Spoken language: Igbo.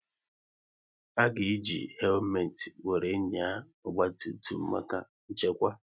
A ga eji helumet wéré nyaa ọgba tum tum maka nchekwa